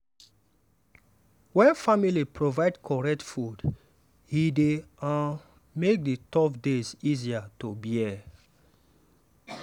wen family provide correct food e dey um make the tough days easier to bear.